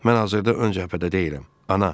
Mən hazırda ön cəbhədə deyiləm, ana.